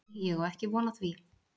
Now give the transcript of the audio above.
Nei, ég á ekki von á því.